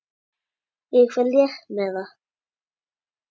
Ég fer létt með það.